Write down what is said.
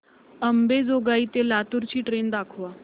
अंबेजोगाई ते लातूर ची ट्रेन दाखवा